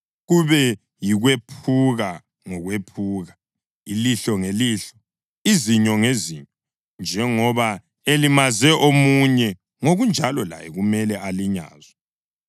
kube yikwephuka ngokwephuka, ilihlo ngelihlo, izinyo ngezinyo. Njengoba elimaze omunye, ngokunjalo laye kumele alinyazwe.